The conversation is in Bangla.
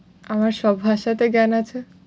আমার সব ভাষাতে জ্ঞান আছে।